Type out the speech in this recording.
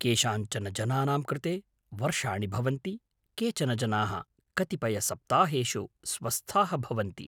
केषाञ्चन जनानां कृते वर्षाणि भवन्ति, केचन जनाः कतिपयसप्ताहेषु स्वस्थाः भवन्ति।